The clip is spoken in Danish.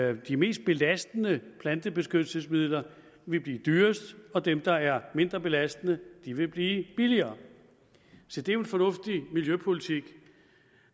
at de mest belastende plantebeskyttelsesmidler vil blive dyrest og dem der er mindre belastende vil blive billigere se det er en fornuftig miljøpolitik